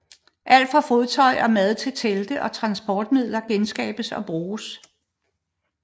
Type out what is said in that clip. Alt fra fodtøj og mad til telte og transportmidler genskabes og bruges